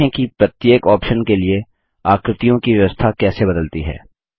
देखें कि प्रत्येक ऑप्शन के लिए आकृतियों की व्यवस्था कैसे बदलती है